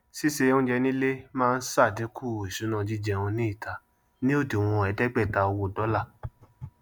sísè oúnjẹ ní ilé máa ṣàdínkù ìṣúná jíjẹun ní ìta ní òdiwọn ẹẹdẹgbẹta owó dọlà